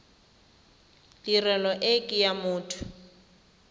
tirelo e ke ya motho